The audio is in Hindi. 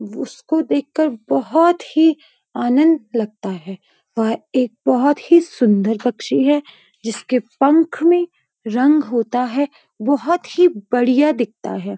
उसको देखकर बहोत ही आनंद लगता है। वह एक बहोत ही सुंदर पक्षी है। जिसके पंख में रंग होता है बहोत ही बढ़िया दिखता है।